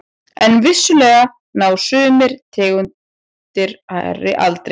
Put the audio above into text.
En vissulega ná sumar tegundir hærri aldri.